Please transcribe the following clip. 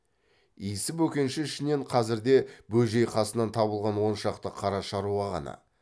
исі бөкенші ішінен қазірде бөжей қасынан табылған он шақты қара шаруа ғана